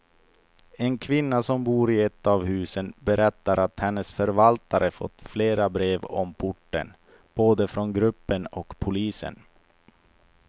En kvinna som bor i ett av husen berättar att hennes förvaltare fått flera brev om porten, både från gruppen och polisen.